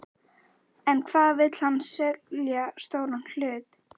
En hvað vill hann selja stóran hlut?